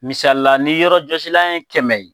Misali la, ni yɔrɔjɔsilan ye kɛmɛ ye